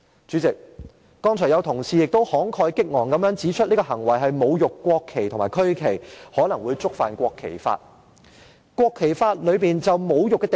主席，剛才有同事也慷慨激昂地指出這種行為是侮辱國旗和區旗，可能會觸犯《國旗及國徽條例》。